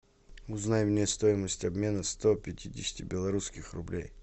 узнай мне стоимость обмена сто пятидесяти белорусских рублей